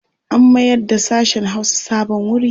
An mayarda sashen Hausa sabon wuri.